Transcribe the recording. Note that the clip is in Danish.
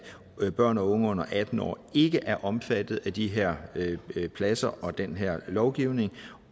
børn og unge under atten år ikke er omfattet af de her sengepladser og den her lovgivning